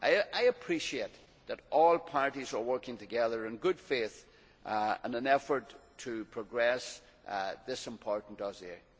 I appreciate that all parties are working together in good faith in an effort to progress on this important dossier.